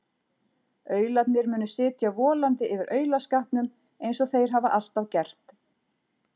Aularnir munu sitja volandi yfir aulaskapnum eins og þeir hafa alltaf gert.